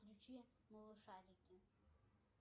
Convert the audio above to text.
включи малышарики